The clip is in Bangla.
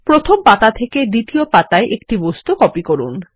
প্রথম পাতা থেকে দ্বিতীয় পাতাতে একটি বস্তু কপি করুন